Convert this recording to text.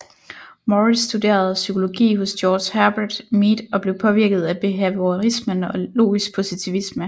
Morris studerede psykologi hos George Herbert Mead og blev påvirket af behaviorismen og logisk positivisme